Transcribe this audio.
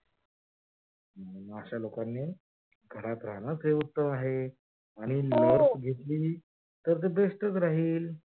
अश्या लोकांनी घरात रहाणाच हे उत्तम आहे. आणि हो लस घेतली तर ते best च राहील